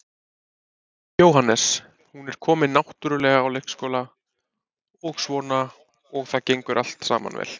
Jóhannes: Hún er komin náttúrulega á leikskóla og svona og það gengur allt saman vel?